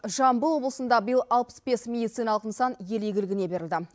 жамбыл облысында биыл алпыс бес медициналық нысан ел игілігіне берілді